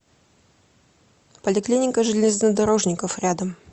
поликлиника железнодорожников рядом